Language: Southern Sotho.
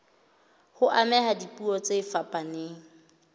ho amohela dipuo tse fapaneng